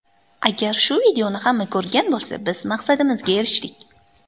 Agar shu videoni hamma ko‘rgan bo‘lsa, biz maqsadimizga erishdik.